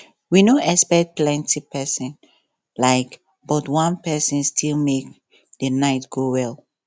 we no expect plenti person um but one person still make the night go well